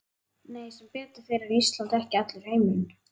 Nei, sem betur fer er Ísland ekki allur heimurinn.